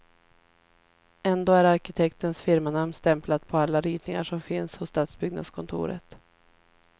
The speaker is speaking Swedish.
Ändå är arkitektens firmanamn stämplat på alla ritningar som finns hos stadsbyggnadskontoret.